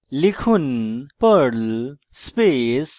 লিখুন perl space hyphen v